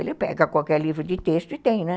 Ele pega qualquer livro de texto e tem, né?